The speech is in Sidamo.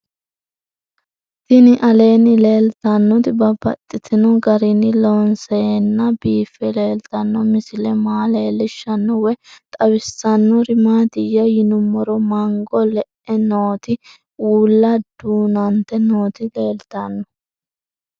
Tinni aleenni leelittannotti babaxxittinno garinni loonseenna biiffe leelittanno misile maa leelishshanno woy xawisannori maattiya yinummoro mango le'e nootti uulla duunante nootti leelittanno